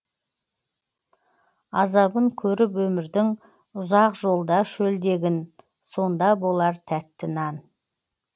азабын көріп өмірдің ұзақ жолда шөлдегін сонда болар тәтті нан